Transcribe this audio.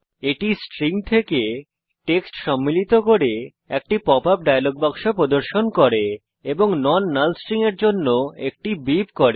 এটি স্ট্রিং থেকে টেক্সট সম্মিলিত করে একটি পপ আপ ডায়লগ বাক্স প্রদর্শন করে এবং নন নাল স্ট্রিংস এর জন্য একটি বিপ করে